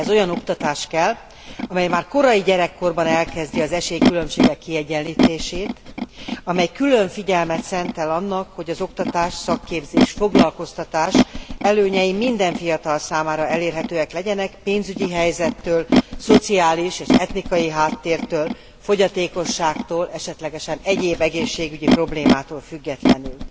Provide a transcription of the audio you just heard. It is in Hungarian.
Ehhez olyan oktatás kell, amely már kora gyermekkorban az esélykülönbségek kiegyenlítését célozza, amely külön figyelmet szentel annak, hogy az oktatás, a szakképzés, a foglalkoztatás előnyei minden fiatal számára elérhetőek legyenek, pénzügyi helyzettől, szociális és etnikai háttértől, fogyatékosságtól, esetlegesen egyéb egészségügyi problémától függetlenül.